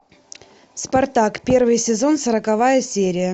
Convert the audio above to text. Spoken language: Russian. спартак первый сезон сороковая серия